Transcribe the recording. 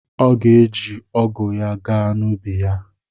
Ọ ga-eji ọgụ ya gaa n'ubi ya.